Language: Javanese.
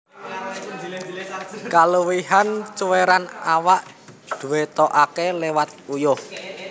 Kaluwihan cuwèran awak dwetokaké liwat uyuh